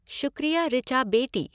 शुक्रिया ॠचा बेटी!